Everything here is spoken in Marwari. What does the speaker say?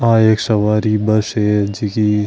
आ एक सवारी बस है जीकी --